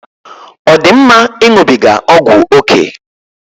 Ọ dị mma ịṅụbiga ọgwụ ókè?